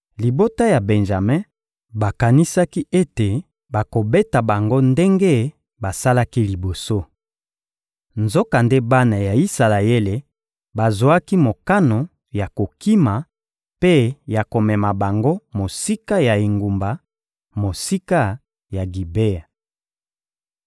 Libota ya Benjame bakanisaki ete bakobeta bango ndenge basalaki liboso. Nzokande bana ya Isalaele bazwaki mokano ya kokima mpe ya komema bango mosika ya engumba, mosika ya Gibea.